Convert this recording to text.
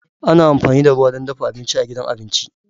Ana amfani da ruwa don dafa abinci a gidan abinci.